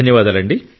ధన్యవాదాలు